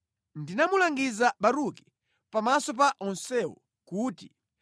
“Ndinamulangiza Baruki pamaso pa onsewo kuti,